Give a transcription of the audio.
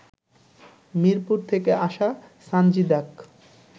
মিরপুর থেকে আসা সানজিদাক